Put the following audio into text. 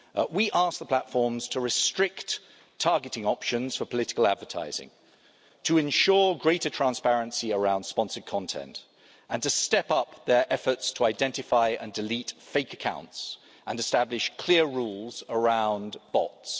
We ask the platforms to restrict targeting options for political advertising, to ensure greater transparency around sponsored content, to step up their efforts to identify and delete fake accounts, and to establish clear rules around bots.